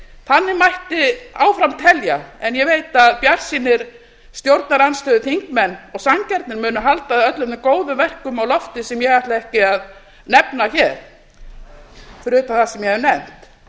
þannig mætti áfram telja en ég veit að bjartsýnir stjórnarandstöðuþingmenn og sanngjarnir munu halda öllum góðum verkum á lofti sem ég ætla ekki að nefna hér fyrir utan það sem ég hef